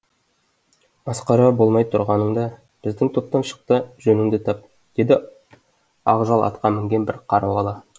масқара болмай тұрғаныңда біздің топтан шық та жөніңді тап деді ақ жал атқа мінген бір қара бала